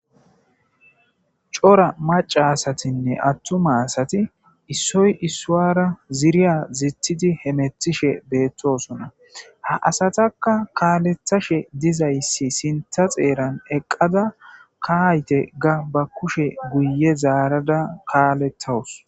cora macaasatinne attuma asati issoy issowara ziriya zitidi hemetishe beettosona ha asataka kaaletashe dizayssi sinta xeeran eqqada kahayte ga ba kushe guye zaarada kaalettawus